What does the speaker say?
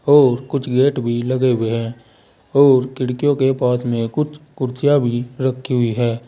और कुछ गेट भी लगे हुए हैं और खिड़कियों के पास में कुछ कुर्सियां भी रखी हुई हैं।